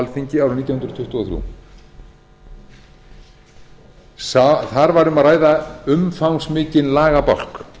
alþingi árið nítján hundruð tuttugu og þrjú þar var um að ræða umfangsmikinn lagabálk